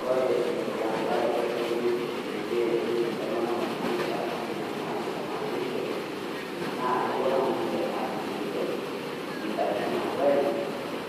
Kore neiko laretok le biotisho peyie eretu ntomonok naanuta o ninia naatoishote, naa kopuo ninche aliki ninche indaiki napuo ainos,